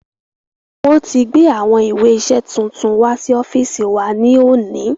Wọ́n ti gbé àwọn ìwé iṣẹ tuntun wá sí ọ́fíìsì wa ní òní